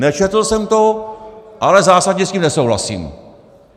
Nečetl jsem to, ale zásadně s tím nesouhlasím!